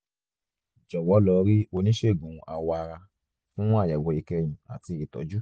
jọ̀wọ́ lọ rí oníṣègùn awọ ara fún àyẹ̀wò ìkẹyìn àti ìtọ́jú